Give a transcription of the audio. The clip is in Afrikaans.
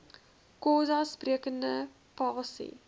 xhosa sprekende pasi